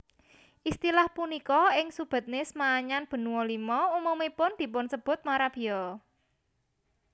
Istilah punika ing subetnis Maanyan Benua Lima umumipun dipunsebut marabia